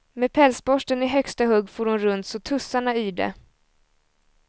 Med pälsborsten i högsta hugg for hon runt så tussarna yrde.